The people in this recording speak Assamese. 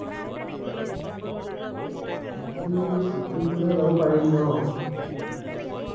বাকি চিকিম ফালে যাব পাৰি ন